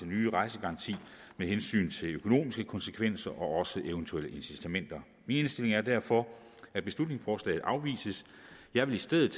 nye rejsegaranti med hensyn til økonomiske konsekvenser og også eventuelle incitamenter min indstilling er derfor at beslutningsforslaget afvises jeg vil i stedet